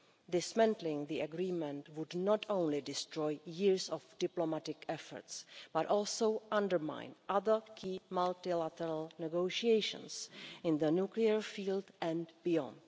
Dismantling the agreement would not only destroy years of diplomatic efforts but also undermine other key multilateral negotiations in the nuclear field and beyond.